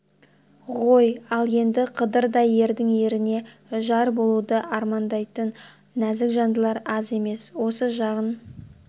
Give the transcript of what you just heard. ғой ал енді қыдырдай ердің еріне жар болуды армандайтын назік жандылар аз емес осы жағын